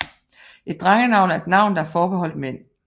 Et drengenavn er et navn der er forbeholdt mænd